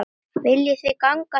Viljið þið ganga svo langt?